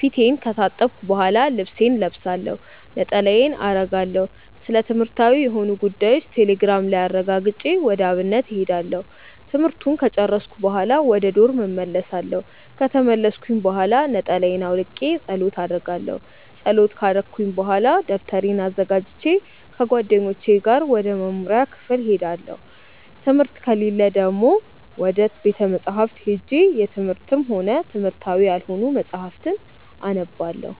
ፊቴን ከታጠብኩ በሆላ ልብሴን እለብሳለሁ፣ ነጠላዬን አረጋለሁ፣ ስለትምህርትዊ የሆኑ ጉዳዮችን ቴሌግራም ላይ አረጋግጬ ወደ አብነት እሄዳለሁ። ትምህርቱን ከጨርስኩኝ በሆላ ወደ ዶርም እመልሳለው። ከተመለስኩኝ ብሆላ ነጠላየን አውልቄ ፀሎት አረጋለው። ፀሎት ከረኩኝ በሆላ ደብተሬን አዘጋጅቼ ከጓደኞቼ ጋር ወደ መምሪያ ክፍል እሄዳለው። ትምህርት ከሌለ ደግሞ ወደ ቤተ መፅሀፍት ሄጄ የትምህርትም ሆነ የትምህርታዊ ያልሆኑ መፅሀፍትን አነባለው።